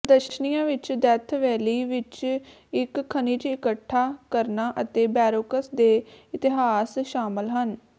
ਪ੍ਰਦਰਸ਼ਨੀਆਂ ਵਿੱਚ Death Valley ਵਿੱਚ ਇੱਕ ਖਣਿਜ ਇਕੱਠਾ ਕਰਨਾ ਅਤੇ ਬੋਰੈਕਸ ਦੇ ਇਤਿਹਾਸ ਸ਼ਾਮਲ ਹਨ